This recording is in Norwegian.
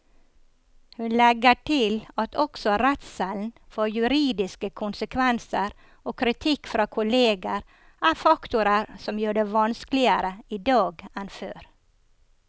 Hun legger til at også redselen for juridiske konsekvenser og kritikk fra kolleger er faktorer som gjør det vanskeligere i dag enn før.